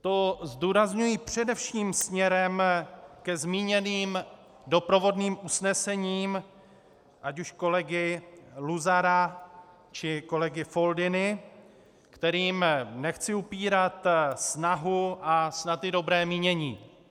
To zdůrazňuji především směrem ke zmíněným doprovodným usnesením, ať už kolegy Luzara, či kolegy Foldyny, kterým nechci upírat snahu a snad i dobré mínění.